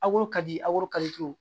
A koro ka di aw